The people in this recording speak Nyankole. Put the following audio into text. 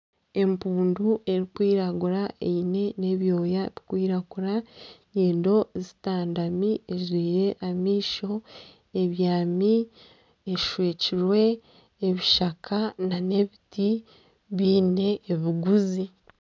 Empundu erikwiragura eine na ebyooya bikwiragura na enyindo zitandami ejwire amaisho ebyami eshwekirwe ebishaka na ebiti byine ebiguzi.